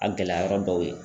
A gɛlɛya yɔrɔ dɔw ye